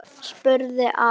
spurði Ari.